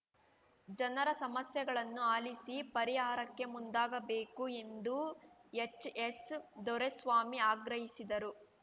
ಜನರ ಸಮಸ್ಯೆಗಳನ್ನು ಆಲಿಸಿ ಪರಿಹಾರಕ್ಕೆ ಮುಂದಾಗಬೇಕು ಎಂದು ಎಚ್‌ಎಸ್‌ದೊರೆಸ್ವಾಮಿ ಆಗ್ರಹಿಸಿದರು